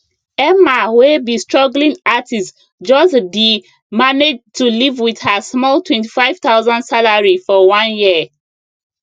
emma wey be struggling artist just d manage to live wit her small 25000 salary for one year